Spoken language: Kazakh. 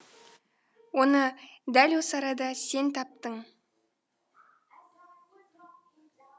оны дәл осы арада сен таптың